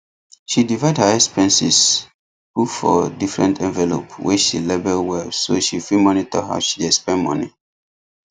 she divide her expenses put for different envelopes wey she label well so she fit monitor how she dey spend money